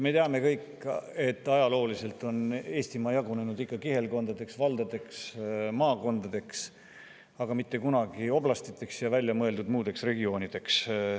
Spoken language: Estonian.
Me teame kõik, et ajalooliselt on Eestimaa jagunenud kihelkondadeks, valdadeks ja maakondadeks, aga mitte kunagi oblastiteks ja muudeks väljamõeldud regioonideks.